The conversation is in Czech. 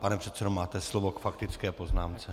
Pane předsedo, máte slovo k faktické poznámce.